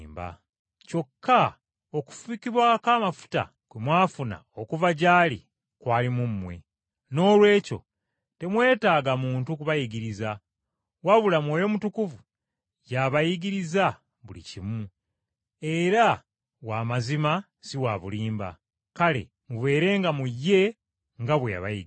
Kyokka okufukibwako amafuta kwe mwafuna okuva gy’ali kwali mu mmwe, noolwekyo temwetaaga muntu kubayigiriza. Wabula Mwoyo Mutukuvu y’abayigiriza buli kimu, era w’amazima si wa bulimba, kale mubeerenga mu ye nga bwe yabayigiriza.